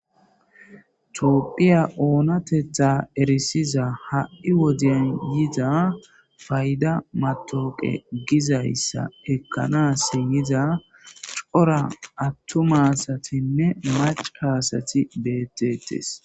Toopphiya oonatetha erisiza ha'i wodiyan yida fayda matooqe gizayssa ekkanas yiza cora attumasatinne mac hasati bettetes